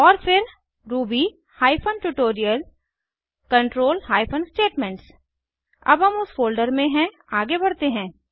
और फिर Ruby hyphen tutorial control hyphen statements अब हम उस फोल्डर में हैं आगे बढ़ते हैं